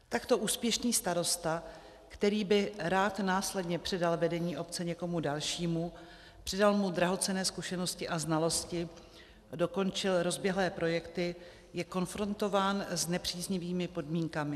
Takto úspěšný starosta, který by rád následně předal vedení obce někomu dalšímu, předal mu drahocenné zkušenosti a znalosti, dokončil rozběhlé projekty, je konfrontován s nepříznivými podmínkami.